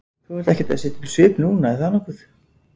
Þú ert ekkert að setja upp svip núna, er það nokkuð?